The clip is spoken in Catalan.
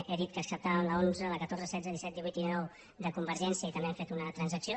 he dit que acceptàvem la onze la catorze setze disset divuit i dinou de convergència i també hem fet una transacció